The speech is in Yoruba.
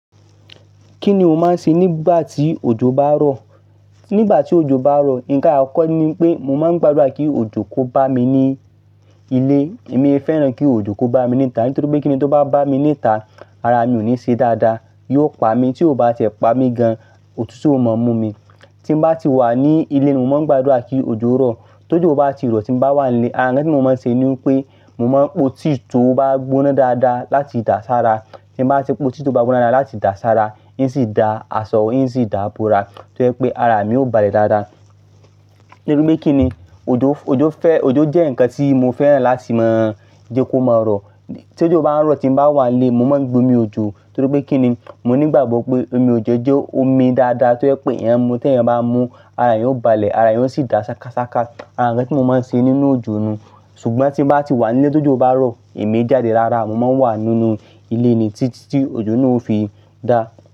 Kí ni mo máa ń ṣe nígbà tí òjò bá ń rọ̀? Nígbà tí òjò bá ń rọ̀, nǹkan àkọ́kọ́ ni pé mo máa ń gbàdúrà kí òjò kó bá mi ní ilé. Èmi fẹ́ràn kí òjò kó bá mi ní ìta, nítorí pé kíni tó bá bá mi ní ìta, ara mi ò ní ṣe dáadáa. Yóò pa mi, tí ó bá tẹ̀ pa mi gan, òtútù ó mọ mú mi. Tí mo bá ti wà ní ilé, mo máa ń gbàdúrà kí òjò rọ̀. Tí òjò bá ti rọ̀ tí mo bá wà nílé, ara ń ṣe kí mo máa ń ṣe ni pé mo máa ń po tea tó bá gbóná dáadáa láti dà sára. Tí mo bá ti po tea tó bá gbóná dáadáa láti dà sára, hìn sì da aṣọ, hìn sì da bora. Tí ó yẹ pé ara mi ó balẹ̀ dáadáa. Nítorí pé kíni, òjò, òjò fẹ́, òjò jẹ́ nǹkan tí mo fẹ́ràn láti mọ̀ jẹ́ kó máa rọ̀. Tí òjò bá ń rọ̀ tí mo bá wà nílé, mo máa ń gbómi òjò. Nítorí pé kíni, mo ní ìgbàgbọ́ pé omi òjò jẹ́ omi dáadáa tí ó yẹ pé èèyàn mu. Tí èèyàn bá mú, ara èyàn yóò balẹ̀, ara èyàn yóò sì da ṣákasáká. Ara ǹkan tí mo máa ń ṣe nínú òjò nù. Ṣùgbọ́n tí mo bá ti wà nílé tí òjò bá rọ̀, èmi èé jáde rárá, mo máa ń wà nínú ilé ni tí tí òjò náà ó fi dá.